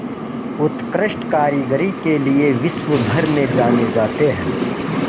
उत्कृष्ट कारीगरी के लिये विश्वभर में जाने जाते हैं